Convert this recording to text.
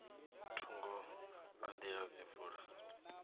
thungo ha nḓila dzi vula